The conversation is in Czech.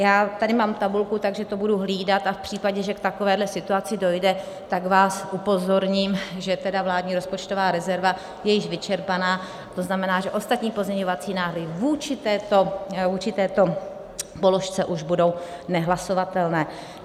Já tady mám tabulku, takže to budu hlídat a v případě, že k takovéhle situaci dojde, tak vás upozorním, že tedy vládní rozpočtová rezerva je již vyčerpaná, to znamená, že ostatní pozměňovací návrhy vůči této položce už budou nehlasovatelné.